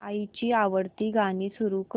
आईची आवडती गाणी सुरू कर